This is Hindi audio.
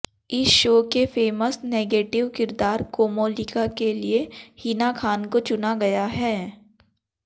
इस शो के फेमस नेगेटिव किरदार कोमोलिका के लिए हिना खान को चुना गया है